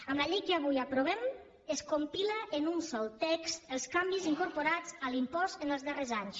amb la llei que avui aprovem es compilen en un sol text els canvis incorporats a l’impost els darrers anys